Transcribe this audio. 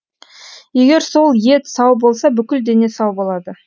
егер сол ет сау болса бүкіл дене сау болады